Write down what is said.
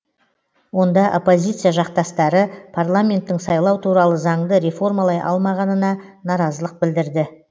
онда оппозиция жақтастары парламенттің сайлау туралы заңды реформалай алмағанына наразылық білдірді